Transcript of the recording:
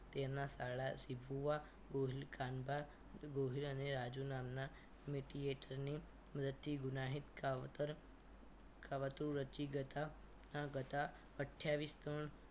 તેના સાળા શિ ફુઆ કાનબાર ગોહિલ અને રાજુ નામના મીટિયેટર ની મદદથી ગુનાહિત કાવતર કાવતરું રચી જતા આ ગથા અથીયાવીસ ત્રણ